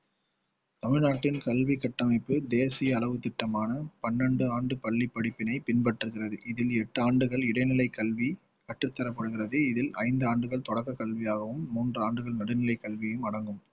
தமிழ்நாட்டின் கல்வி கட்டமைப்பு தேசிய அளவு திட்டமான பன்னெண்டு ஆண்டு பள்ளி படிப்பினை பின்பற்றகிறது இதில் எட்டு ஆண்டுகள் இடைநிலை கல்வி கற்றுத்தரப்படுகிறது இதில் ஐந்து ஆண்டுகள் தொடக்க கல்வியாகவும் மூன்று ஆண்டுகள் நடுநிலை கல்வியும் அடங்கும்